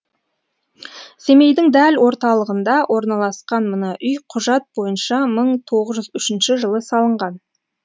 семейдің дәл орталығында орналасқан мына үй құжат бойынша мың тоғыз жүз үшінші жылы салынған